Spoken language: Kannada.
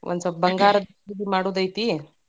ಒಂದ್ ಸ್ವಪ್ ಬಂಗಾರ ಖರೀದಿ ಮಾಡುದೈತಿ.